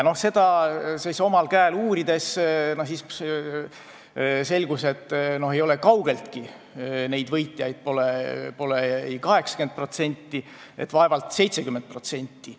Seda uurides selgus, et võitjaid ei ole kaugeltki mitte 80%, on vaevalt 70%.